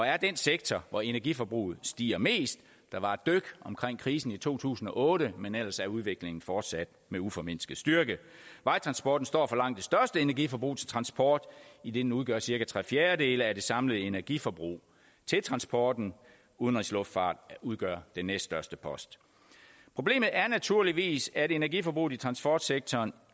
er den sektor hvor energiforbruget stiger mest der var et dyk omkring krisen i to tusind og otte men ellers er udviklingen fortsat med uformindsket styrke vejtransporten står for langt det største energiforbrug til transport idet den udgør cirka tre fjerdedele af det samlede energiforbrug til transport udenrigsluftfarten udgør den næststørste post problemet er naturligvis at energiforbruget i transportsektoren